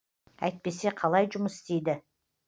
әйтпесе қалай жұмыс істейді